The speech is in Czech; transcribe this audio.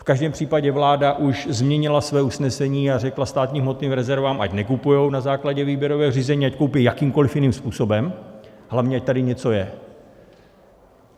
V každém případě vláda už změnila své usnesení a řekla státním hmotným rezervám, ať nekupují na základě výběrového řízení, ať koupí jakýmkoliv jiným způsobem, hlavně ať tady něco je.